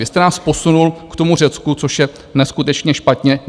Vy jste nás posunul k tomu Řecku, což je neskutečně špatně.